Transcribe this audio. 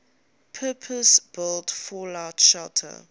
purpose built fallout shelter